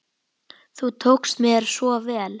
Þú tókst mér svo vel.